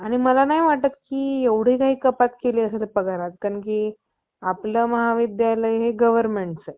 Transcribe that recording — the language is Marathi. नजर चुकवून, आपली सर्व वेद मंत्र जादू, व तत तत्संबंधी भाकड दंतकथा